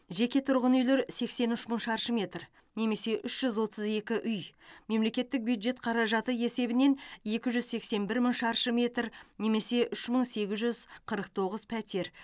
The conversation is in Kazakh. жеке тұрғын үйлер сексен үш мың шаршы метр немесе үш жүз отыз екі үй мемлекеттік бюджет қаражаты есебінен екі жүз сексен бір мың шаршы метр немесе үш мың сегіз жүз қырық тоғыз пәтер